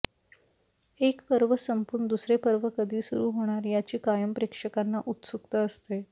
एक पर्व संपून दुसरे पर्व कधी सुरु होणार याची कायम प्रेक्षकांना उत्सुकता असते